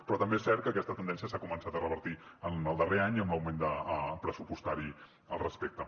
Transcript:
però també és cert que aquesta tendència s’ha començat a revertir en el darrer any amb l’augment pressupostari al respecte